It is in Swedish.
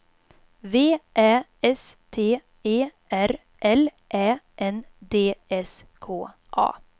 V Ä S T E R L Ä N D S K A